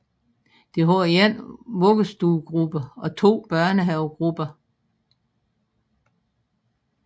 Det har 1 vuggestuegruppe og 2 børnehavegrupper